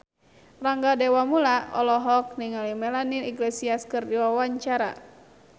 Rangga Dewamoela olohok ningali Melanie Iglesias keur diwawancara